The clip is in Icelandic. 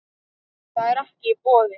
Það er ekki í boði.